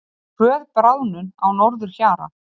Hröð bráðnun á norðurhjara